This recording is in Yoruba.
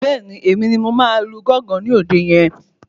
Bẹ́ẹ̀ni, Èmi ni mo máa lu gángan ní òde yẹn